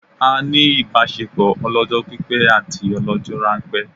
A ní ìbásepọ̀ ọlọ́jọ́ pípẹ́ àti ọlọ́jọ́ ránpẹ́